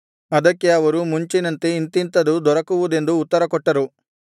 ಅದಕ್ಕೆ ಅವರು ಮುಂಚಿನಂತೆ ಇಂಥಿಂಥದು ದೊರಕುವುದೆಂದು ಉತ್ತರಕೊಟ್ಟರು